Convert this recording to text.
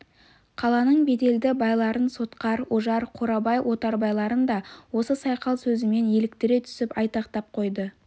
қаланың беделді байларын сотқар ожар қорабай отарбайларын да осы сайқал сөзімен еліктіре түсіп айтақтап қойды